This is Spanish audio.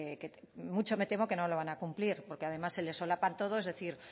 que mucho me temo que no lo van a cumplir porque además se le solapan todos es decir